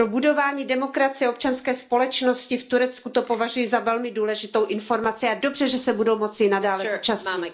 Pro budování demokracie, občanské společnosti v Turecku to považuji za velmi důležitou informaci a je dobře, že se budou moci i nadále zúčastnit.